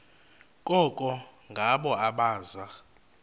koko ngabo abaza